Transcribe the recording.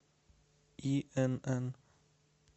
инн